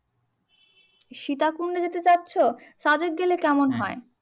সীতাকুণ্ডে যেতে চাচ্ছো সাজেক গেলে কেমন হয়?